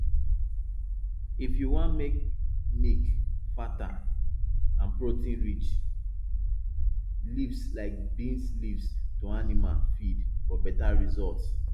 if you wan make milk fatter add proteinrich leaves like bean leaves to animal feed for better results